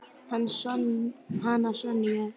Hana Sonju?